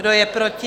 Kdo je proti?